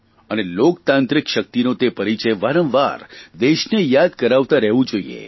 અને લોકતાંત્રિક શકિતનો તે પરિચય વારંવાર દેશને યાદ કરાવતાં રહેવું જોઇએ